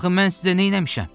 Axı mən sizə neyləmişəm?